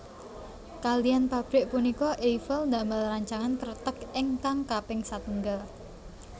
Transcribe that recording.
Kaliyan pabrik punika Eiffel ndamel rancangan kreteg ingkang kaping satunggal